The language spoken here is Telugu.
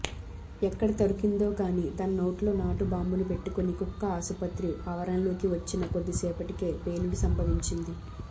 ఎక్కడ దొరికిందోగాని తన నోట్లో నాటు బాంబును పెట్టుకుని కుక్క ఆసుపత్రి ఆవరణలోకి వచ్చిన కొద్ది సేపటికే పేలుడు సంభవించింది